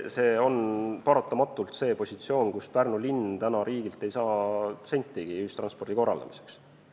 See on paratamatult see positsioon, kus Pärnu linn täna riigilt ei saa sentigi ühistranspordi korraldamiseks.